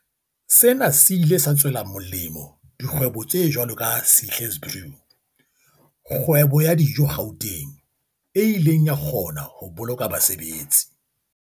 Sena se ile sa tswela molemo dikgwebo tse jwalo ka Sihle's Brew, kgwebo ya dijo Gauteng, e ileng ya kgona ho boloka basebetsi